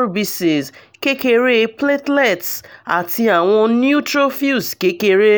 rbcs kekere platelets ati awọn neutrophils kekere